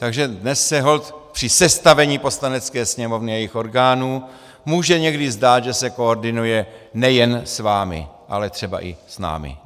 Takže dnes se holt při sestavení Poslanecké sněmovny a jejích orgánů může někdy zdát, že se koordinuje nejen s vámi, ale třeba i s námi.